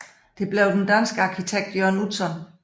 Det blev den danske arkitekt Jørn Utzon